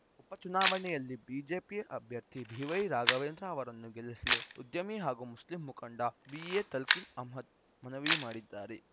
ಉಪಚನಾವಣೆಯಲ್ಲಿ BJP ಅಭ್ಯರ್ಥಿ B Y Raghavendra ಅವರನ್ನು ಗೆಲ್ಲಿಸಲು ಉದ್ಯಮಿ ಹಾಗೂ ಮುಸ್ಲಿಂ ಮುಖಂಡ ಬಿಎ ತಲ್ಕಿನ್‌ ಅಹಮ್ಮದ್‌ ಮನವಿ ಮಾಡಿದ್ದಾರೆ